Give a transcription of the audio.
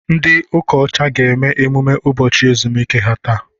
Ndị ụka ọcha ga-eme emume ụbọchị ezumike ha taa.